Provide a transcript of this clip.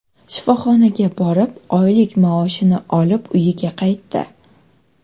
shifoxonaga borib, oylik maoshini olib uyiga qaytdi.